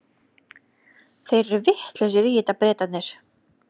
Þeir eru vitlausir í þetta, Bretarnir.